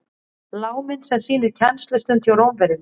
lágmynd sem sýnir kennslustund hjá rómverjum